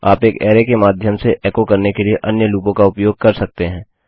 आप एक अरै के माध्यम से एको करने की लिए अन्य लूपों का उपयोग कर सकते हैं